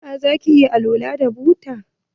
Eh zaki iya alwala da buta.